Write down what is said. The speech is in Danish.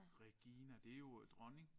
Regina det jo øh dronning